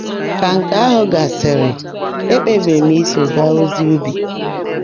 Ka nke ahụ gasịrị, e kpebiri m iso gaa ozi ubi.